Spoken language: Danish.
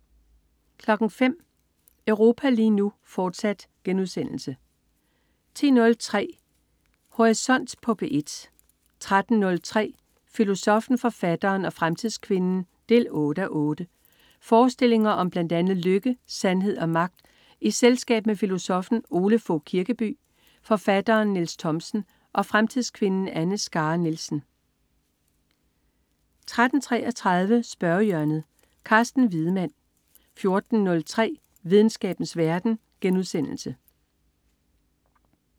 05.00 Europa lige nu, fortsat* 10.03 Horisont på P1 13.03 Filosoffen, forfatteren og fremtidskvinden 8:8. Forestillinger om blandt andet lykke, sandhed og magt i selskab med filosoffen Ole Fogh Kirkeby, forfatteren Niels Thomsen og fremtidskvinden Anne Skare Nielsen 13.33 Spørgehjørnet. Carsten Wiedemann 14.03 Videnskabens verden*